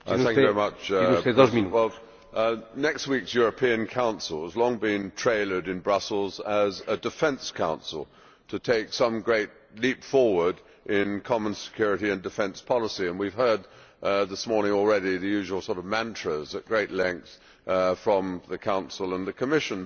Mr President, next week's European Council has long been trailered in Brussels as a defence Council' to take some great leap forward in common security and defence policy, and we have heard this morning already the usual sort of mantras at great length from the Council and the Commission, but